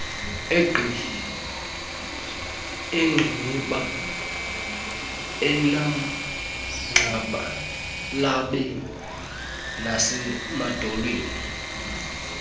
eengqiniba emagxalabeni nasemadolweni